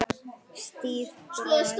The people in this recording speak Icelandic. Stíf brot.